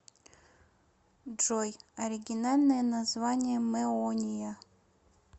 джой оригинальное название мэония